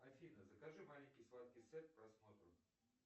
афина закажи маленький сладкий сет к просмотру